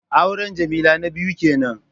Auren Jamila na biyu kenan